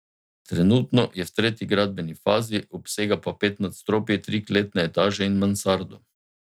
Trenutno je v tretji gradbeni fazi, obsega pa pet nadstropij, tri kletne etaže in mansardo.